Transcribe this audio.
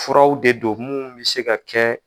Furaw de do mun bɛ se ka kɛ